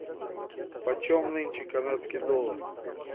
по чем нынче канадский доллар